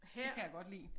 Det kan jeg godt lide